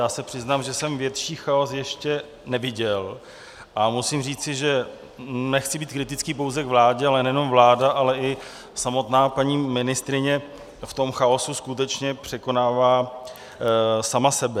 Já se přiznám, že jsem větší chaos ještě neviděl, a musím říci, že nechci být kritický pouze k vládě, ale nejenom vláda, ale i samotná paní ministryně v tom chaosu skutečně překonává sama sebe.